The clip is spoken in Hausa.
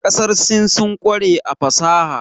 Ƙasar Sin sun ƙware a fasaha.